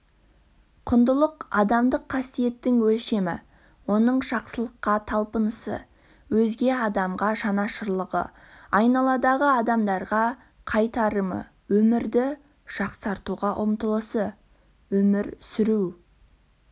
құндылық адамдық қасиеттің өлшемі оның жақсылыққа талпынысы өзге адамға жанашырлығы айналадағы адамдарға қайтарымы өмірді жақсартуға ұмтылысы өмір сүру